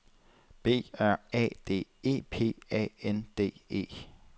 B R A D E P A N D E